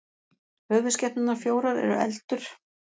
höfuðskepnurnar fjórar eru eldur